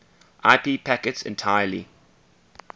ip packets entirely